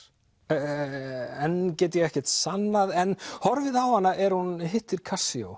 en get ég ekkert sannað en horfið á hana er hún hittir